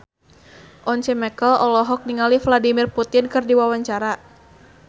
Once Mekel olohok ningali Vladimir Putin keur diwawancara